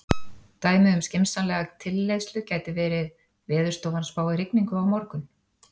Dæmi um skynsamlega tilleiðslu gæti verið: Veðurstofan spáir rigningu á morgun.